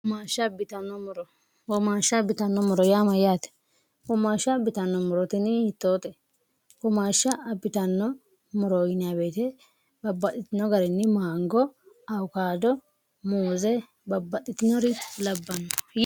hoomaashsha abbitanno moro yaa mayyaate hoomaashsha abbitanno morotini yittoote hoomaashsha abbitanno moroyinybeete babbadhitino garinni maango aukaado muuze babbadhitinori labbanno